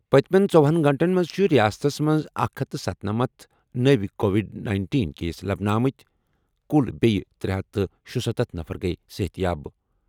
پٔتِمٮ۪ن ژووُہن گٲنٛٹن منٛز چھِ رِیاستَس منٛز اکھ ہتھ تہٕ ستنمتھ نٔوۍ کووِڈ نَینٹین کیس لبنہٕ آمٕتۍکُل بیٚیہِ ترٛے ہتھ تہٕ شُستتھ نفر گٔیہِ صحتیاب